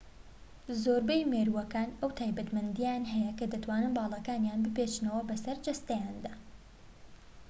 زۆربەی مێرووەکان ئەو تایبەتمەندییەیان هەیە کە دەتوانن باڵەکانیان بپێچنەوە بە سەر جەستەیاندا